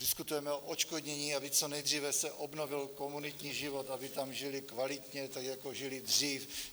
Diskutujeme o odškodnění, aby co nejdříve se obnovil komunitní život, aby tam žili kvalitně, tak jako žili dřív.